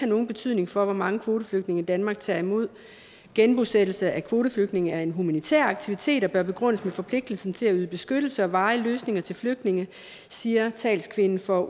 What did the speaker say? nogen betydning for hvor mange kvoteflygtninge danmark tager imod genbosættelse af kvoteflygtninge er en humanitær aktivitet og bør begrundes med forpligtelsen til at yde beskyttelse og varige løsninger til flygtninge siger talskvinden for